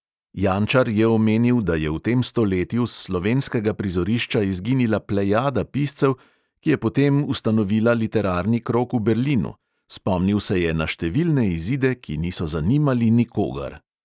Jančar je omenil, da je v tem stoletju s slovenskega prizorišča izginila plejada piscev, ki je potem ustanovila literarni krog v berlinu, spomnil se je na številne izide, ki niso zanimali nikogar ...